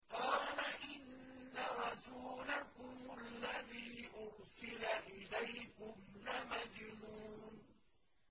قَالَ إِنَّ رَسُولَكُمُ الَّذِي أُرْسِلَ إِلَيْكُمْ لَمَجْنُونٌ